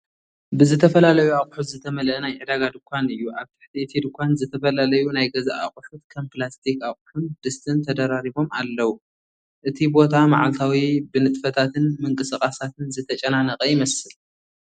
ብዝተፈላለዩ ኣቑሑት ዝተመልአ ናይ ዕዳጋ ድኳን እዩ። ኣብ ትሕቲ እቲ ድኳን ዝተፈላለዩ ናይ ገዛ ኣቑሑት ከም ፕላስቲክ ኣቕሑን ድስቲን ተደራሪቦም ኣለዉ። እቲ ቦታ መዓልታዊ ብንጥፈታትን ምንቅስቓሳትን ዝተጨናነቐ ይመስል።